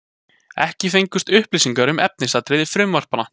Ekki fengust upplýsingar um efnisatriði frumvarpanna